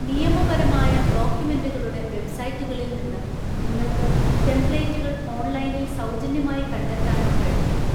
നിയമപരമായ ഡോക്യുമെന്റുകളുടെ വെബ്സൈറ്റുകളിൽ നിന്ന് നിങ്ങൾക്ക് ടെംപ്ലേറ്റുകൾ ഓൺലൈനിൽ സൗജന്യമായി കണ്ടെത്താനും കഴിഞ്ഞേക്കും.